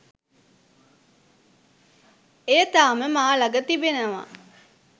එය තාම මා ළඟ තිබෙනවා